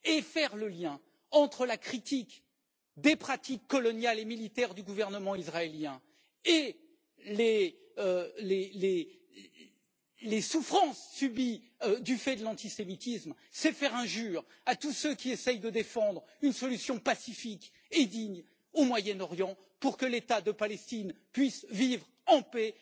Faire le lien entre la critique des pratiques coloniales et militaires du gouvernement israélien et les souffrances subies du fait de l'antisémitisme, c'est faire injure à tous ceux qui essaient de défendre une solution pacifique et digne au Moyen Orient pour que l'État de Palestine puisse vivre en paix